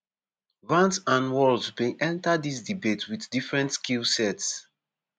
vance and walz bin enta dis debate wit different skill sets.